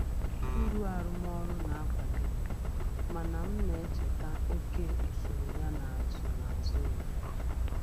Uru arụmọrụ na-akwali m, mana m na-echeta oke usoro yana nsonaazụ ya.